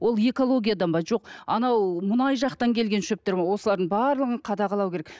ол экологиядан ба жоқ анау мұнай жақтан келген шөптер ме осылардың барлығын қадағалау керек